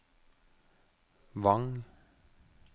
Vang